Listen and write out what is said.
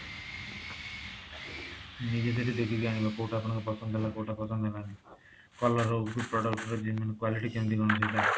ନିଜେ ସେଟା ଦେଖିକି ଆଣିବ କୋଊଟା ଆପଣଙ୍କର ପସନ୍ଦ ହେଲା କୋଊଟା ପସନ୍ଦ ହେଲାନି color ହଉ କି product ର ଯେମି quality quality କେମିତି କଣ ମିଳୁଛି ଏଇଟା